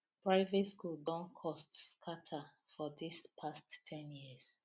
private school don cost scatter for this past ten years